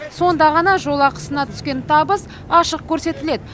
сонда ғана жол ақысынан түскен табыс ашық көрсетіледі